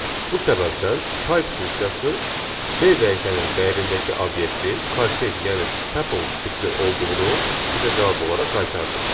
Bu səbəbdən type funksiyası B dəyişəninin dəyərindəki obyektin kortec yəni tuple tipli olduğunu bizə cavab olaraq qaytardı.